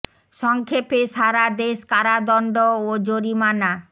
স ং ক্ষে পে সা রা দে শ কারাদণ্ড ও জরিমানা